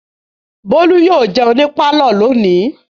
Bólú yóò jẹun ní pálọ̀ lónìí.